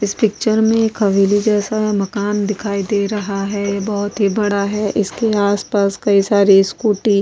इस पिक्चर में एक हवेली जैसा मकान दिखाई दे रहा है ये बहुत ही बड़ा है इसके आसपास कई सारी स्कूटी --